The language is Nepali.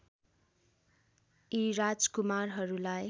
यी राजकुमारहरूलाई